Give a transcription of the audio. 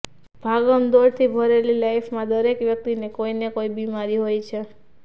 ભાગમદોડથી ભરેલી લાઇફમાં દરેક વ્યક્તિને કોઇને કોઇ બીમારી હોય છે